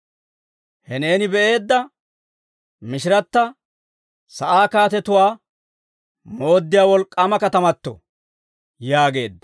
«He neeni be'eedda mishiratta sa'aa kaatetuwaa mooddiyaa wolk'k'aama katamato» yaageedda.